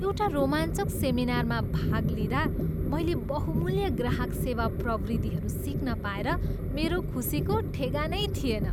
एउटा रोमाञ्चक सेमिनारमा भाग लिँदा, मैले बहुमूल्य ग्राहक सेवा प्रविधिहरू सिक्न पाएर मेरो खुसीको ठेगानै थिएन।